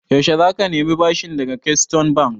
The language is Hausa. Yaushe za ka nemi bashin daga Keystone Bank?